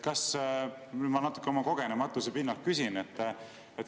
Ma natuke oma kogenematuse pinnalt küsin.